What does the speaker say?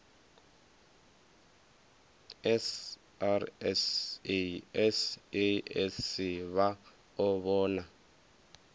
srsa sasc vha o vhona